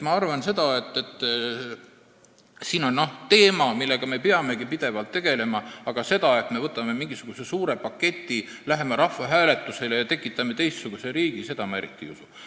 Ma arvan, et siin on teemasid, millega me peamegi pidevalt tegelema, aga sellesse, et me võtame mingisuguse suure paketi, läheme rahvahääletusele ja tekitame niimoodi teistsuguse riigi, ma eriti ei usu.